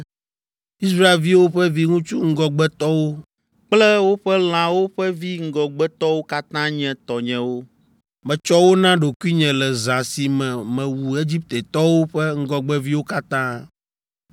Israelviwo ƒe viŋutsu ŋgɔgbetɔwo kple woƒe lãwo ƒe vi ŋgɔgbetɔwo katã nye tɔnyewo. Metsɔ wo na ɖokuinye le zã si me mewu Egiptetɔwo ƒe ŋgɔgbeviwo katã.